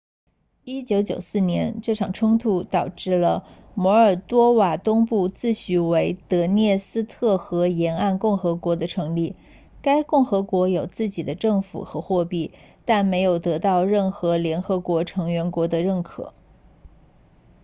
1994年这场冲突导致摩尔多瓦东部自诩为德涅斯特河沿岸共和国的成立该共和国有自己的政府和货币但没有得到任何联合国成员国的认可